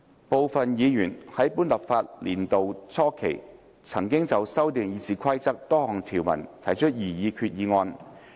部分議員在本立法年度初期，曾就修訂《議事規則》多項條文提出擬議決議案。